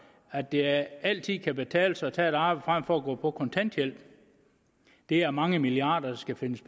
at det altid kan betale sig at tage et arbejde frem for at gå på kontanthjælp det er mange milliarder der skal findes